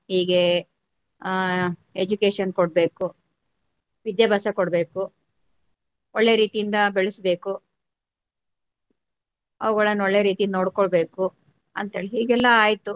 ಹೀಗೆ ಆ education ಕೊಡ್ಬೇಕು ವಿದ್ಯಾಭ್ಯಾಸ ಕೊಡ್ಬೇಕು ಒಳ್ಳೆ ರೀತಿಯಿಂದ ಬೆಳ್ಸ್ಬೇಕು ಅವುಗಳನ್ನ ಒಳ್ಳೆ ರೀತಿಯಿಂದ ನೋಡ್ಕೊಳ್ಳಬೇಕು ಅಂತ ಹೇಳಿ ಹೀಗೆಲ್ಲಾ ಆಯ್ತು.